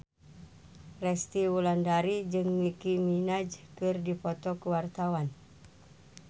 Resty Wulandari jeung Nicky Minaj keur dipoto ku wartawan